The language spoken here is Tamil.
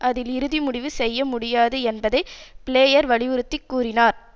அதில் இறுதி முடிவு செய்ய முடியாது என்பதை பிளேயர் வலியுறுத்தி கூறினார்